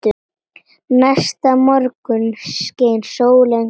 Næsta morgun skein sólin glatt.